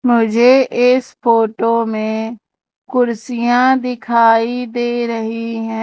मुझे इस फोटो में कुर्सियां दिखाई दे रही हैं।